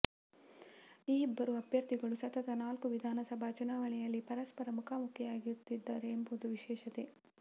ಈ ಇಬ್ಬರು ಅಭ್ಯರ್ಥಿಗಳು ಸತತ ನಾಲ್ಕು ವಿಧಾನಸಭಾ ಚುನಾವಣೆಯಲ್ಲಿ ಪರಸ್ಪರ ಮುಖಾಮುಖಿಯಾಗುತ್ತಿದ್ದಾರೆ ಎಂಬುದು ವಿಶೇಷತೆ